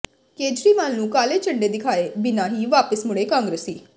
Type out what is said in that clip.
ਕੇਜਰੀਵਾਲ ਨੂੰ ਕਾਲੇ ਝੰਡੇ ਦਿਖਾਏ ਬਿਨਾਂ ਹੀ ਵਾਪਿਸ ਮੁੜੇ ਕਾਂਗਰਸੀ